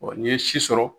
n'i ye si sɔrɔ